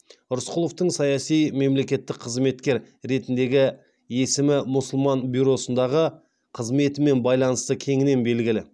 рысқұловтың саяси мемлекеттік қызметкер ретіндегі есімі мұсылман бюросындағы қызметімен байланысты кеңінен белгілі